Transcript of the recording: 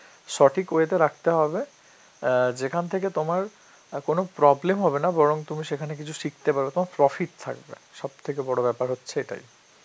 সঠিক way তে রাখতে হবে, অ্যাঁ যেখান থেকে অ্যাঁ তোমার আর কোন problem হবে না, বরং তুমি সেখানে কিছু শিখতে পারবে, তোমার profit থাকবে, সব থেকে বড় ব্যাপার হচ্ছে এটাই.